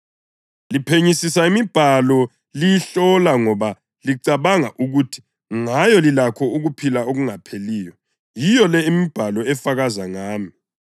Liphenyisisa imibhalo liyihlola ngoba licabanga ukuthi ngayo lilakho ukuphila okungapheliyo. Yiyo le imibhalo efakaza ngami,